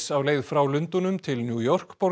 á leið frá Lundúnum til New York